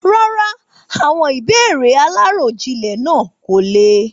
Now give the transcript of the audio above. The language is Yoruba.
Rárá, àwọn ìbéèrè aláròjinlè náà kò le.